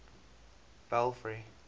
belfry